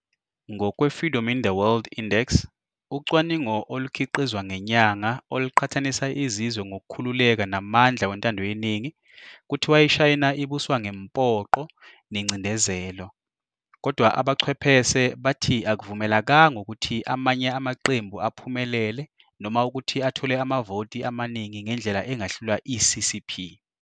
Ngokwe-"Freedom in the World Index", ucwaningo olukhiqizwa ngenyaka oluqhathanisa izizwe ngokukhululeka namandla wentandoyeningi, kuthiwa iShayina ibuswa ngemphoqo nencindezelo. Kodwa abachwephese bathi akuvumelekanga ukuthi amanye amaqembu aphumelele noma ukuthi athole amavoti amaningi ngendlela engahlula i-CCP.